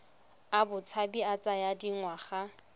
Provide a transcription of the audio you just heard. a botshabi a tsaya dingwaga